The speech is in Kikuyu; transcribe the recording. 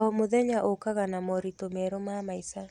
O mũthenya ũkaga na moritũ merũ ma maica.